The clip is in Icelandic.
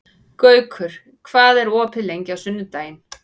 Gaukur, hvað er opið lengi á sunnudaginn?